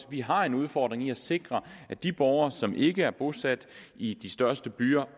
vi har en udfordring med at sikre at de borgere som ikke er bosat i de største byer